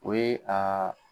O ye a